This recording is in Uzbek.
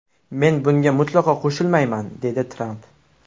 Men bunga mutlaqo qo‘shilmayman”, dedi Tramp.